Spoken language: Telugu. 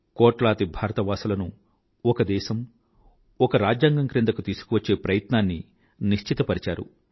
కోట్లాది భారతవాసులను ఒక దేశం ఒక రాజ్యాంగం క్రిందకు భారతదేశాన్ని తీసుకువచ్చే ప్రయత్నాన్ని నిశ్చితపరిచారు